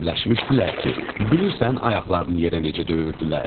bilirsən, ayaqlarını yerə necə döyürdülər?